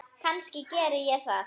Kannski geri ég það.